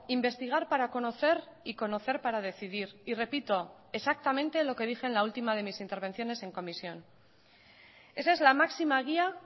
investigar para conocer y conocer para decidir y repito exactamente lo que dije en la última de mis intervenciones en comisión esa es la máxima guía